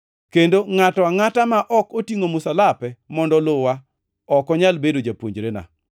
Kendo ngʼato angʼata ma ok otingʼo msalape mondo oluwa ok onyal bedo japuonjrena.